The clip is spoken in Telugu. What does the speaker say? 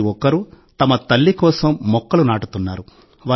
ప్రతి ఒక్కరూ తమ తల్లి కోసం మొక్కలు నాటుతున్నారు